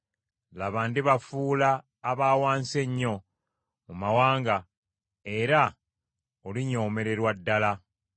“Laba, ndibafuula aba wansi ennyo mu mawanga, era olinyoomererwa ddala.